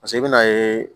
paseke i be na ye